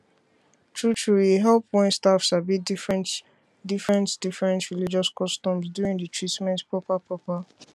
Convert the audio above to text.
truetrue e help wen staff sabi different diffrent religious customs during di treatment proper proper